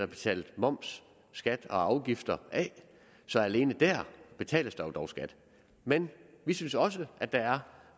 betalt moms skat og afgifter af så alene der betales der jo dog skat men vi synes også at der er